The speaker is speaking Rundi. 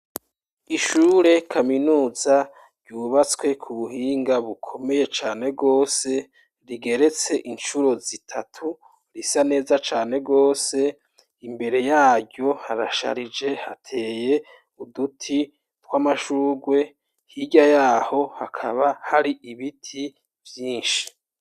Ishure kaminuza ryubatswe ku buhinga bukomeye cane gose rigeretse incuro zitatu risa neza cane gose, imbere yaryo harasharije hateye uduti tw'amashurwe, hirya yaho hakaba hari ibiti vyinshi.